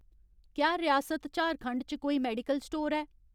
क्या रियासत झारखंड च कोई मेडिकल स्टोर ऐ ?